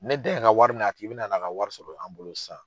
Ni dan ye ka wari minɛ a tigi bɛna na, a ka wari sɔrɔ an bolo sa